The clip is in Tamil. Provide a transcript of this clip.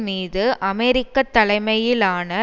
மீது அமெரிக்க தலைமையிலான